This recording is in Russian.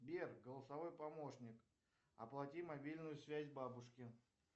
сбер голосовой помощник оплати мобильную связь бабушке